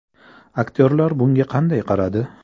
Aktyorlar bunga qanday qaradi?